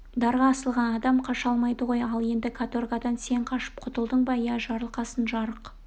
дарға асылған адам қаша алмайды ғой ал енді каторгадан сен қашып құтылдың ба иә жарылқасын жарық